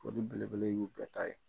foli belebele y'u bɛɛ ta ye.